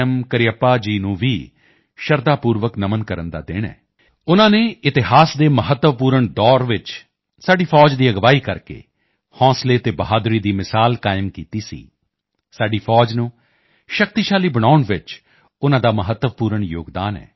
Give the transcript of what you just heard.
ਕਰੀਯੱਪਾ ਜੀ ਨੂੰ ਵੀ ਸ਼ਰਧਾਪੂਰਵਕ ਨਮਨ ਕਰਨ ਦਾ ਦਿਨ ਹੈ ਉਨ੍ਹਾਂ ਨੇ ਇਤਿਹਾਸ ਦੇ ਮਹੱਤਵਪੂਰਨ ਦੌਰ ਚ ਸਾਡੀ ਫ਼ੌਜ ਦੀ ਅਗਵਾਈ ਕਰਕੇ ਸਾਹਸ ਅਤੇ ਬਹਾਦਰੀ ਦੀ ਮਿਸਾਲ ਕਾਇਮ ਕੀਤੀ ਸੀ ਸਾਡੀ ਫ਼ੌਜ ਨੂੰ ਸ਼ਕਤੀਸ਼ਾਲੀ ਬਣਾਉਣ ਚ ਉਨ੍ਹਾਂ ਦਾ ਮਹੱਤਵਪੂਰਣ ਯੋਗਦਾਨ ਹੈ